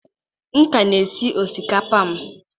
M ka na-esi osikapa m.